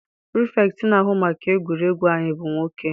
Pirifetktị na-ahụ maka egwuregwu anyị bụ nwoke.